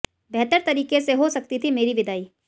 बेहतर तरीके से हो सकती थी मेरी विदाई